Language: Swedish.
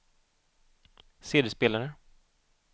CD-spelare